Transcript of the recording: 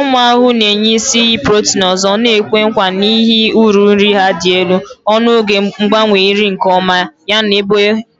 Ụmụ ahụhụ na-enye isi iyi protein ọzọ na-ekwe nkwa n'ihi uru nri ha dị elu, ọnụego mgbanwe nri nke ọma, yana